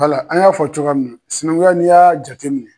Wala an y'a fɔ cogoya min na sinaŋuya n'i y'a jateminɛ